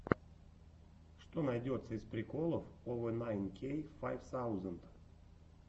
что найдется из приколов овэ найн кей файв саузенд